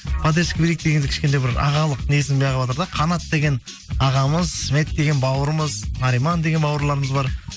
поддержка берейік дегендей кішкентай бір ағалық несін қанат деген ағамыз сүннет деген бауырымыз нариман деген бауырларымыз бар